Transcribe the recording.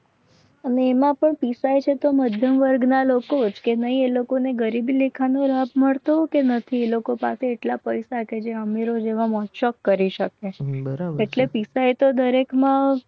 તમે એમાં પણ પીસાય મધ્યમ વર્ગના લોકો જ કે નહીં. એ લોકોને ગરીબ લેખાનો રાહત મળતો કે નથી. એ લોકો પાસે એટલા પૈસા કરી શકે એટલે પીસાય તો દરેકમાં